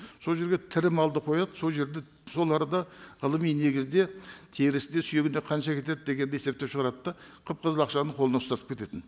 сол жерге тірі малды қояды сол жерде сол арада ғылыми негізде терісіне сүйегіне қанша кетеді дегенді есептеп шығарады да қып қызыл ақшаны қолына ұстатып кететін